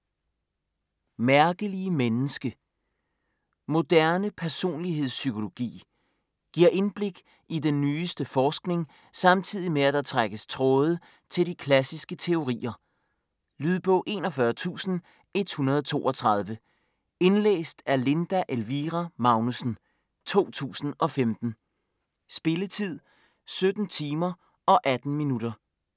Mærkelige menneske Moderne personlighedspsykologi. Giver indblik i den nyeste forskning samtidig med, at der trækkes tråde til de klassiske teorier. Lydbog 41132 Indlæst af Linda Elvira Magnussen, 2015. Spilletid: 17 timer, 18 minutter.